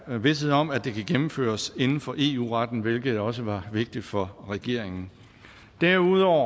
vished om at det kan gennemføres inden for eu retten hvilket også var vigtigt for regeringen derudover